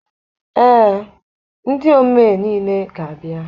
Ee, ndị omee niile ga-abịa.